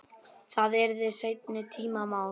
Það yrði seinni tíma mál.